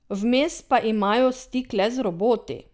Vmes pa imajo stik le z roboti?